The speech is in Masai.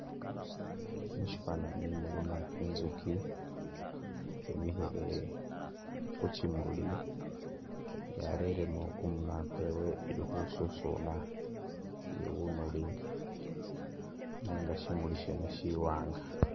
Musyifwananyi mulimu inzuki yimile ku kimuli, yareremu kumunwa kwayo ili khesusuna bunulu nenga syimuli syene syiwaanga.